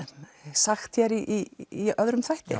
sagt í öðrum þætti